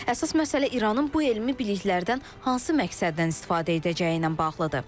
Əsas məsələ İranın bu elmi biliklərdən hansı məqsədlə istifadə edəcəyi ilə bağlıdır.